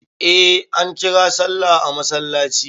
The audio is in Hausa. Eh ankira sallah a masallaci.